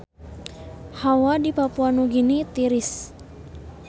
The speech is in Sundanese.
Hawa di Papua Nugini tiris